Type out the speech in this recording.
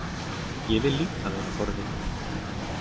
Ég vil líka vera forvitin.